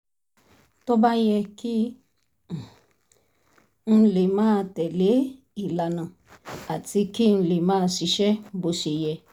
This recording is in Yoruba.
tó bá yẹ kí um n lè máa tẹ̀ lé ìlànà àti kí n lè máa ṣiṣẹ́ bó ṣe yẹ